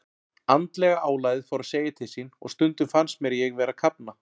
Andlega álagið fór að segja til sín og stundum fannst mér ég vera að kafna.